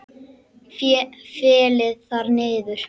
Féll þar niður.